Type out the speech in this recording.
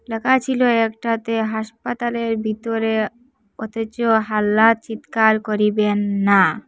ল্যাখা ছিল একটাতে হাসপাতালের ভিতরে অথচ হাল্লা চিৎকার করিবেন না।